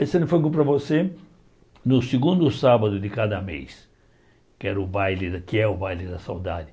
Esse ano foi você no segundo sábado de cada mês, que era o baile que é o baile da saudade.